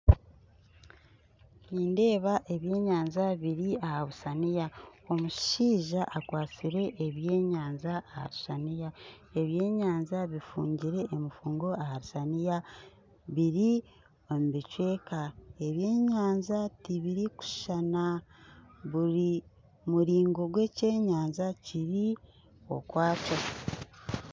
Nindeeba ebyenyanja biri aha rusaniya omushaija akwatsire ebyenyanja aha rusaniya ebyenyanja bifungire emifungo aha rusaniya biri omu bicweka ebyenyanja tibirikushushana buri muringo gw'ekyenyanja kiri okwakyo